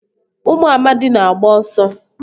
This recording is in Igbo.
Ụmụ amadi na agba ọsọ.